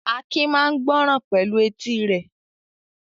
Akin máa ń gbọ́ràn pẹ̀lú etí rẹ̀.